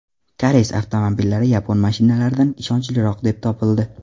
Koreys avtomobillari yapon mashinalaridan ishonchliroq deb topildi.